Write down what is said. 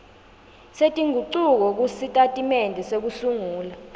setingucuko kusitatimende sekusungula